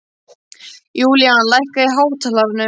Julian, lækkaðu í hátalaranum.